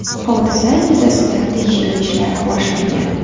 Hodisa yuzasidan tekshiruv ishlari boshlangan.